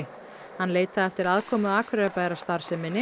hann leitaði eftir aðkomu Akureyrarbæjar að starfseminni